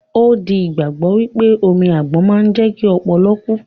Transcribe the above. Ó di ìgbàgbọ́ wípé omi àgbon máa ń jẹ́kí ọpọlọ kú